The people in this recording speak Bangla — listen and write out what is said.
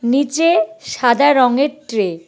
নীচে সাদা রঙের ট্রে ।